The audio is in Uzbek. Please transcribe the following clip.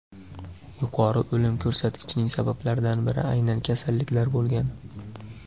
Yuqori o‘lim ko‘rsatkichining sabablaridan biri aynan kasalliklar bo‘lgan.